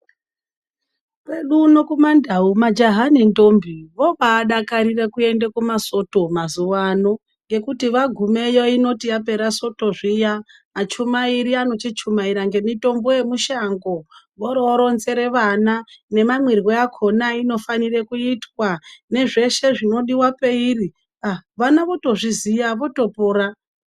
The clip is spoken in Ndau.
Kwedu uno kumandau majaha nentombi vobadakarira kuenda kumasoto mazuvano ngekuti vagumeyo inoti yapera soto zviya achumairi anochichumaira ngemitombo yemishango voro voronzere vana nemamwirwe akona ainofana kuitwa nezveshe zvinodiwa peiri aa vana votozviziya votopora .